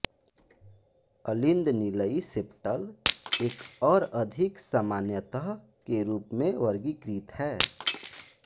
अलिंदनिलयी septal एक और अधिक सामान्यतः के रूप में वर्गीकृत